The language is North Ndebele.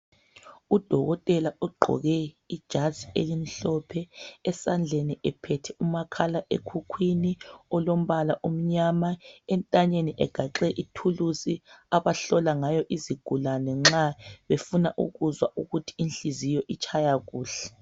Udokotela ugqoke ijazi elimhlophe esandleni ephethe umakhala ekhukhwini ulombala omnyama, entanyeni egaxe ithulusi abahlola ngayo izigulane nxa befuna ukuzwa ukuthi inhliziyo itshaya kuhle.